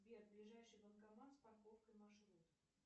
сбер ближайший банкомат с парковкой маршрут